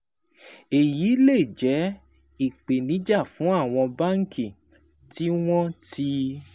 Èyí lè jẹ́ ìpèníjà fún àwọn báńkì tí wọ́n ti